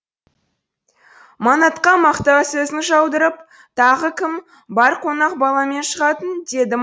манатқа мақтау сөзін жаудырып тағы кім бар қонақ баламен шығатын деді